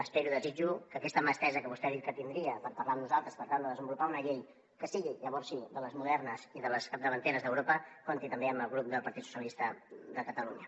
espero i desitjo que aquesta mà estesa que vostè ha dit que tindria per parlar amb nosaltres per tal de desenvolupar una llei que sigui llavors sí de les modernes i de les capdavanteres d’europa compti també amb el grup del partit socialistes de catalunya